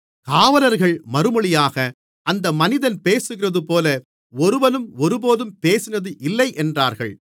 காவலர்கள் மறுமொழியாக அந்த மனிதன் பேசுகிறதுபோல ஒருவனும் ஒருபோதும் பேசினது இல்லை என்றார்கள்